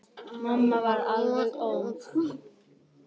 Mamma varð alveg óð.